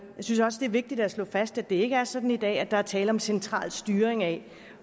synes også det er vigtigt at slå fast at det ikke er sådan i dag at der er tale om central styring af